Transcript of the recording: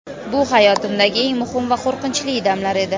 Bu hayotimdagi eng muhim va qo‘rqinchli damlar edi.